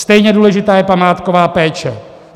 Stejně důležitá je památková péče.